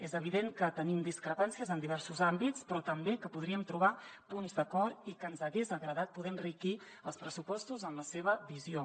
és evident que tenim discrepàncies en diversos àmbits però també que podríem trobar punts d’acord i que ens hagués agradat poder enriquir els pressupostos amb la seva visió